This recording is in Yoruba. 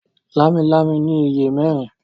Lámilámi ní ìyè mérin.